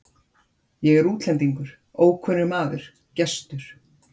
Ég er útlendingur, ókunnugur maður, gestur.